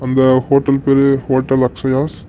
இந்த ஹோட்டல் பேரு ஹோட்டல் அக்ஷயாஸ் .